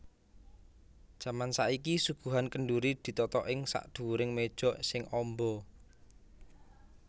Jaman saiki suguhan kendhuri ditata ing sakdhuwuring méja sing amba